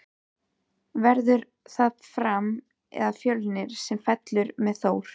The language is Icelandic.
Verður það Fram eða Fjölnir sem fellur með Þór?